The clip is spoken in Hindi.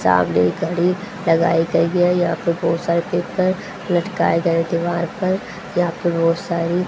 सामने एक घड़ी लगाई गई है यहां पे बहुत सारे पेपर लटकाए गए दीवार पर यहां पे बहुत सारी--